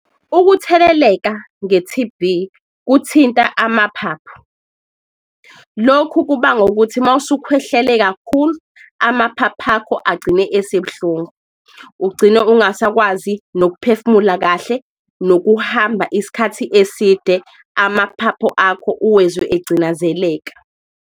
Ukutheleleka nge-T_B kuthinta amaphaphu, lokhu kubangwa ukuthi mawusukhwehlele kakhulu amaphapha akho agcine esebuhlungu. Ugcine ungasakwazi nokuphefumula kahle nokuhamba isikhathi eside, amaphaphu akho uwezwe egcinazeleka.